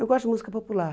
Eu gosto de música popular.